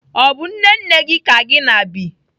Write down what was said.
Ọ bụ nne nne gị ka gị na bi?